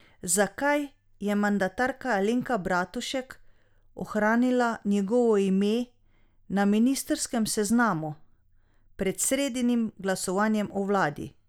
Zakaj je mandatarka Alenka Bratušek ohranila njegovo ime na ministrskem seznamu pred sredinim glasovanjem o vladi?